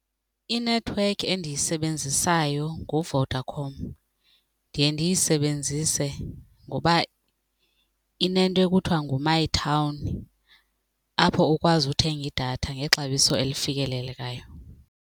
Inethiwekhi endiyisebenzisayo nguVodacom. Ndiye ndiyisebenzise ngoba inento ekuthiwa ngu-my town apho ukwazi uthenga idatha ngexabiso elifikelelekayo.